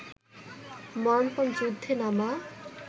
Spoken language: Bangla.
মরণপণ যুদ্ধে নামা